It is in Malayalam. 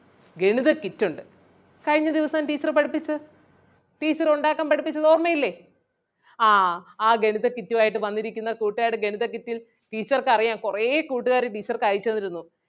ഗണിത kit ഒണ്ട്. കഴിഞ്ഞ ദിവസം teacher പഠിപ്പിച്ചത് teacher ഉണ്ടാക്കാൻ പഠിപ്പിച്ചത് ഓർമയില്ലേ? ആഹ് ആ ഗണിത kit ഉം ആയിട്ട് വന്നിരിക്കുന്ന കൂട്ടുകാര് ഗണിത kit teacher ക്ക് അറിയാം കൊറേ കൂട്ടുകാര് teacher ക്ക് അയച്ചു തന്നിരുന്നു.